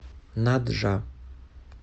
наджа